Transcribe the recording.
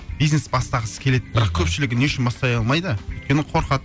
бизнес бастағысы келеді мхм бірақ көпшілігі не үшін бастай алмайды өйткені қорқады